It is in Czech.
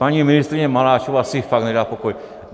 Paní ministryně Maláčová si fakt nedá pokoj.